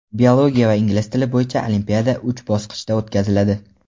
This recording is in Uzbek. biologiya va ingliz tili bo‘yicha olimpiada uch bosqichda o‘tkaziladi.